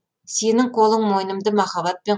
сенің қолың мойнымды махаббатпен